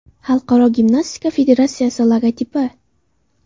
Xalqaro gimnastika federatsiyasi logotipi.